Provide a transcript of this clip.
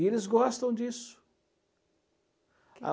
E eles gostam disso.